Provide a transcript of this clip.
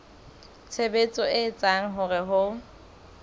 tshebetso e etsang hore ho